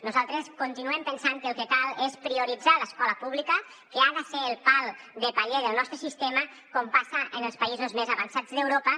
nosaltres continuem pensant que el que cal és prioritzar l’escola pública que ha de ser el pal de paller del nostre sistema com passa en els països més avançats d’europa